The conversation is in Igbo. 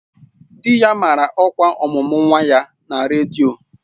Di ya mara ọkwa ọmụmụ nwa ya na redio